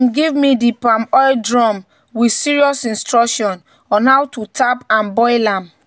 "dem give me di palm oil drum with serious instruction on how to tap and boil am."